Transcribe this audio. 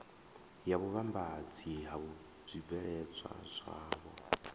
ya vhuvhambadzi ha zwibveledzwa zwavho